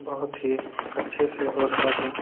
बहुत ही अच्छे से हो रहा है।